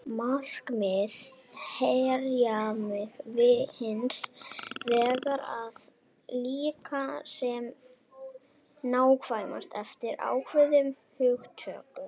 Markmið hermileikja hins vegar er að líkja sem nákvæmast eftir ákveðnum hugtökum.